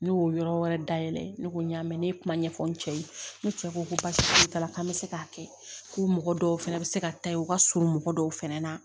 Ne y'o yɔrɔ wɛrɛ dayɛlɛ ne ko n y'a mɛn ne ye kuma ɲɛfɔ n cɛ ye ne cɛ ko basi foyi t'a la k'an bɛ se k'a kɛ ko mɔgɔ dɔw fɛnɛ bɛ se ka taa yen u ka surun mɔgɔ dɔw fɛnɛ na